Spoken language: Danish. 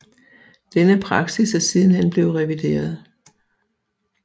Denne praksis er sidenhen blevet revideret